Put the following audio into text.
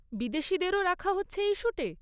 বিদেশীদেরও রাখা হচ্ছে এই শ্যুটে?